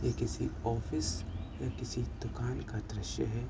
ये किसी ऑफिस या किसी दुकान का दृश्य है।